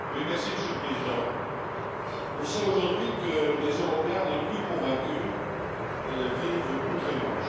Monsieur le Président, on sait aujourd'hui que les Européens les plus convaincus vivent outre Manche.